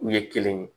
U ye kelen ye